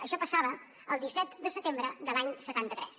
això passava el disset de setembre de l’any setanta tres